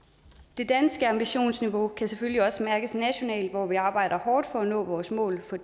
det danske ambitionsniveau kan selvfølgelig også mærkes nationalt hvor vi arbejder hårdt for at nå vores mål for